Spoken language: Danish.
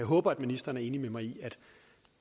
håber at ministeren er enig med mig i at